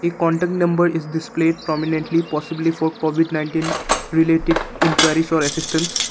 a contact number is this place prominently possibly for covid nineteen related enquiry for assistance.